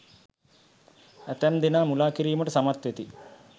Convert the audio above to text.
ඇතැම් දෙනා මුළා කිරීමට සමත් වෙති.